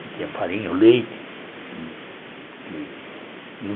Não tinha farinha, o leite.